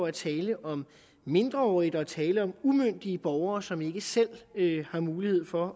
er tale om mindreårige der er tale om umyndige borgere som ikke selv har mulighed for